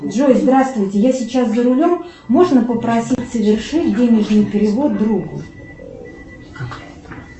джой здравствуйте я сейчас за рулем можно попросить совершить денежный перевод другу